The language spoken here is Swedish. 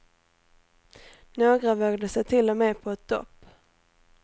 Några vågade sig till och med på ett dopp.